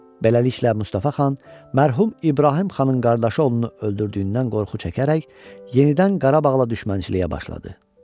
Beləliklə, Mustafa xan mərhum İbrahim xanın qardaşı oğlunu öldürdüyündən qorxu çəkərək yenidən Qarabağla düşmənçiliyə başladı.